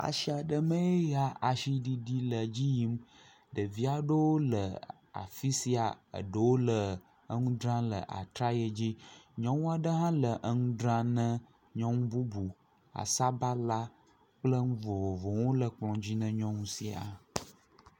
Asi aɖe me eye asiɖiɖi le edzi yim. Ɖevi aɖewo le afi sia, ɖewo le nu dzram le atraye dzi, nyɔnu aɖe hã le nu dzram ne nyɔnu bubu; sabala kple nu vovovowo le kplɔ dzi na nyɔnu sia.